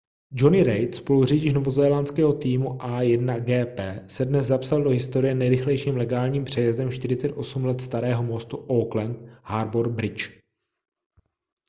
jonny reid spoluřidič novozélandského týmu a1gp se dnes zapsal do historie nejrychlejším legálním přejezdem 48 let starého mostu auckland harbour bridge